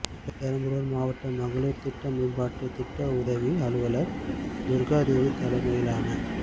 பெரம்பலுார் மாவட்ட மகளிர் திட்ட மேம்பாட்டு திட்ட உதவி அலுவலர் துர்காதேவி தலைமையிலான